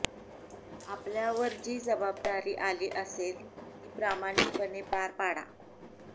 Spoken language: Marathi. आपल्यावर जी जबाबदारी आली असेल ती प्रामाणिकपणे पार पाडा